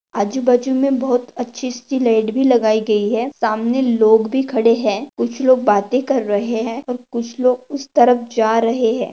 आजूबाजू मे बहुत अच्छी सी लाइट भी लगाई गयी है सामने लोग भी खड़े है कुछ लोग बाते कर रहे है और कुछ लोग उस तरफ जा रहे है।